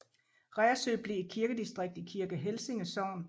Reersø blev et kirkedistrikt i Kirke Helsinge Sogn